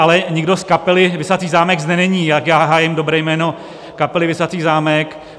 Ale nikdo z kapely Visací zámek zde není, tak já hájím dobré jméno kapely Visací zámek.